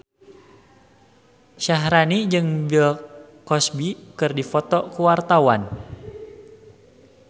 Syaharani jeung Bill Cosby keur dipoto ku wartawan